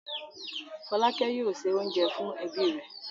Fọ́lákẹ́ yóò se oúnjẹ fún ẹbí rẹ̀.